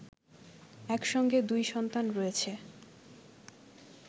একসঙ্গে দুই সন্তান রয়েছে